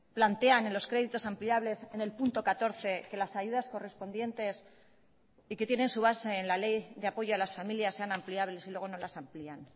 plantean en los créditos ampliables en el punto catorce que las ayudas correspondientes y que tienen su base en la ley de apoyo a las familias sean ampliables y luego no las amplían